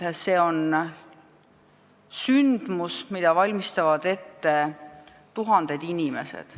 See on sündmus, mida valmistavad ette tuhanded inimesed.